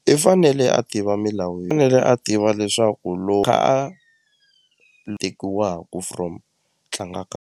I fanele a tiva milawu fanele a tiva leswaku a tekiwaku from tlangaka.